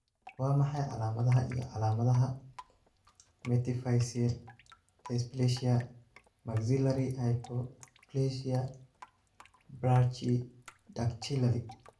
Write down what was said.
Waa maxay calaamadaha iyo calaamadaha Metaphyseal dysplasia maxillary hypoplasia brachydactyly?